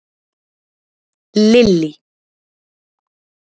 Lily